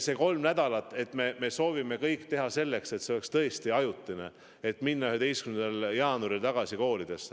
See kolm nädalat me soovime teha kõik selleks, et see oleks tõesti ajutine ja 11. jaanuaril saab tagasi koolidesse minna.